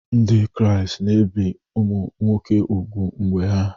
Ndị Kraịst na-ebi ụmụ nwoke úgwù mgbe ha